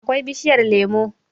akwai bishiyar lemo